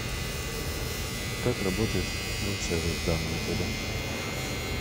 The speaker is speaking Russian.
как работает рум сервис в данном отеле